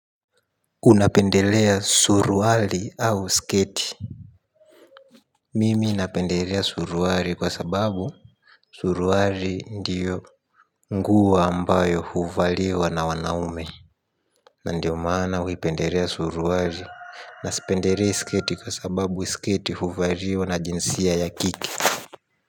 Unapendelea suruali au sketi. Mimi napendelea suruali kwa sababu suruali ndiyo nguo ambayo huvaliwa na wanaume. Ndiyo maana huipendelea suruali. Na sipendelei sketi kwa sababu sketi huvaliwa na jinsia ya kike.